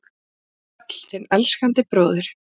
Vertu sæl, þinn elskandi bróðir